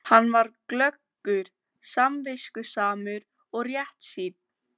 Komið þið hingað aftur! æpti hún bálreið á eftir þeim.